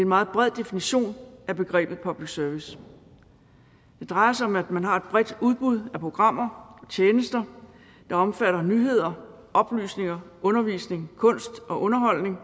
meget bred definition af begrebet public service det drejer sig om at man har et bredt udbud af programmer og tjenester der omfatter nyheder oplysning undervisning kunst og underholdning